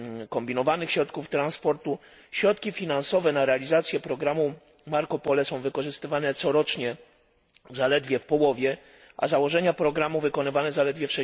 kombinowanych środków transportu, środki finansowe na realizację programu Marco Polo są wykorzystywane corocznie zaledwie w połowie, a założenia programu wykonywane tylko w